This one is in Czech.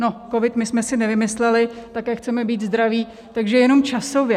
No, covid my jsme si nevymysleli, také chceme být zdraví, takže jenom časově.